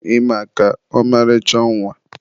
ị maka, ọmarịcha nwa.